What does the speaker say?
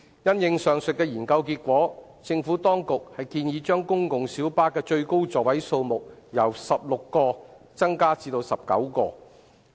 因應上述的研究結果，政府當局建議將公共小巴的最高座位數目由16個增加至19個。